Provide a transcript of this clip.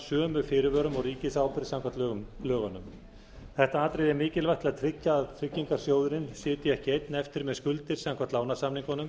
sömu fyrirvörum og ríkisábyrgð samkvæmt lögunum þetta atriði er mikilvægt til að tryggja að tryggingarsjóðurinn sitji ekki einn eftir með skuldir samkvæmt lánasamningunum